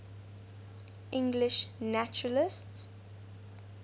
english naturalists